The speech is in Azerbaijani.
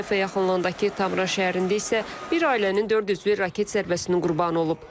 Hayfa yaxınlığındakı Tamra şəhərində isə bir ailənin dörd üzvü raket zərbəsinin qurbanı olub.